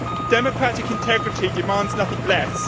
Democratic integrity demands nothing less.